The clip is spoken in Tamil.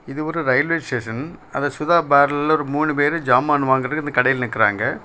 இது ஒரு ரயில்வே ஸ்டேஷன் அத சுதா பார்லர்ல ஒரு மூணு பேர் சாமான் வாங்கறதுக்கு அந்த கடையில நிக்கிறாங்க.